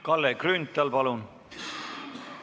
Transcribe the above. Kalle Grünthal, palun!